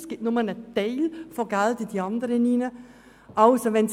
Es findet nur eine Teilverlagerung zu den anderen Kassen statt.